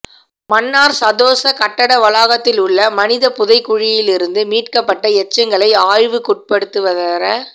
மன்னார் சதொச கட்டட வளாகத்திலுள்ள மனித புதைகுழியிலிருந்து மீட்கப்பட்ட எச்சங்களை ஆய்வுக்குட்படுத்துவதற